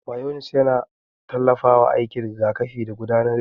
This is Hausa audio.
Mayones yana tallafawa aikin rigakafi da gudanar jini.